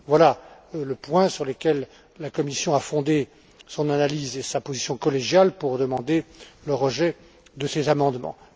Voilà les points sur lesquels la Commission a fondé son analyse et sa position collégiale pour demander le rejet de ces amendements.